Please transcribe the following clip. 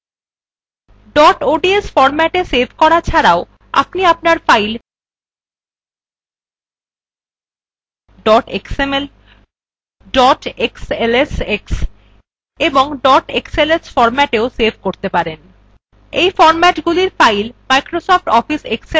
dot ods ফরম্যাটএ save করা ছাড়াও আপনি আপনার file dot xml dot xlsx এবং dot xls ফরম্যাটে save করতে পারবেন এই ফরম্যাটএর file Microsoft office excel program খুলতে পারে